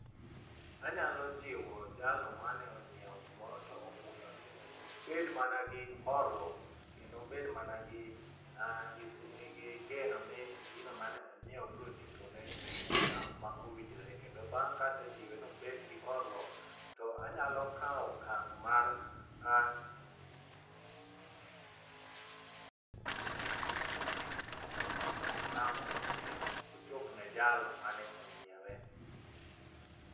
Anyalo jiwo jalo mane onyiewo gimoro to obudho ni obed mana gi horuok kendo obed mana gi geno ni gino mane onyieo bro chopone e sa ma owinjore kendo bang' kasejiwe nobedgi horuok to anyalo kawo okang' mar po ni ang' mondo omi ochopne jalo mane onyiewe.